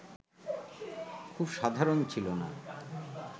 খুব সাধারণ ছিল না